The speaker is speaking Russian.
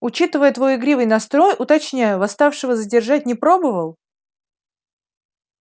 учитывая твой игривый настрой уточняю восставшего задержать не пробовал